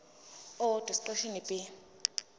owodwa esiqeshini b